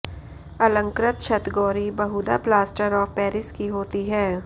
अलंकृत छतगोरी बहुधा प्लास्टर ऑफ पेरिस की होती है